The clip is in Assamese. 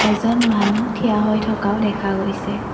এজন মানুহ থিয় হৈ থকাও দেখা গৈছে।